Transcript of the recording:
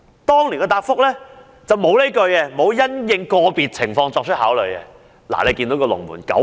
當年政府的答覆沒有"因應個別情況作出考慮"這一句。